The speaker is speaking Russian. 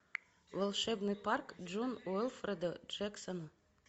волшебный парк джон уилфреда джексона